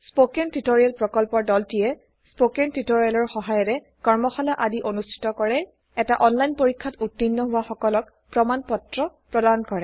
spoken tutorial প্ৰকল্পৰ দলটিয়েস্পকেন টিওটৰিয়েলৰ সহায়েৰে কৰ্মশালা আদি অনুষ্ঠিত কৰে এটা অনলাইন পৰীক্ষাত উত্তীৰ্ণ হোৱা সকলক প্ৰমাণ পত্ৰ প্ৰদান কৰে